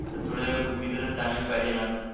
तर थोडे मित्र चांगलेच पाहिजेनच